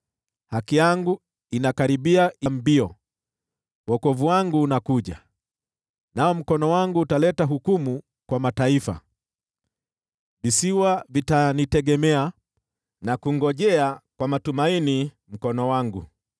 Haki yangu inakaribia mbio, wokovu wangu unakuja, nao mkono wangu utaleta hukumu kwa mataifa. Visiwa vitanitegemea na kungojea mkono wangu kwa matumaini.